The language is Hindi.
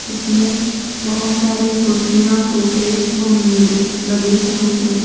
इसमें बहुत सारे कुर्सियां सोफे वह मेज लगे हुए हैं।